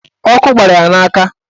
Ọkụ gbara ya n'aka.